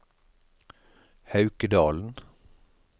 Haukedalen